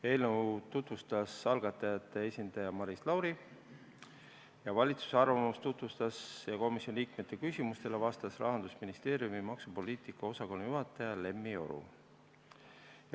Eelnõu tutvustas algatajate esindaja Maris Lauri, valitsuse arvamust tutvustas ja komisjoni liikmete küsimustele vastas Rahandusministeeriumi maksupoliitika osakonna juhataja Lemmi Oro.